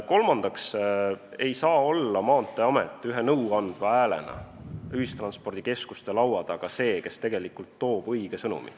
Kolmandaks ei saa olla Maanteeamet ühe nõuandva häälena ühistranspordikeskuste laua taga see, kes toob õige sõnumi.